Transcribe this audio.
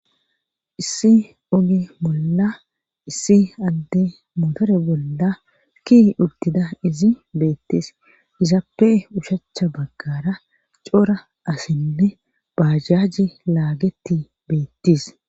issi oge bolla issi adde motore bolla ki urtida izi beettis izaappe ushachcha baggara coora asinne bajajji laageti beettis